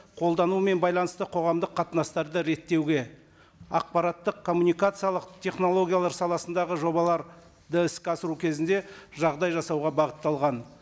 қолданумен байланысты қоғамдық қатынастарды реттеуге ақпараттық коммуникациялық технологиялар саласындағы жобаларды іске асыру кезінде жағдай жасауға бағытталған